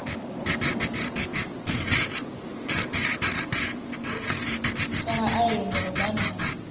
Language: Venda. tsha vhaaleli ngeno bannda a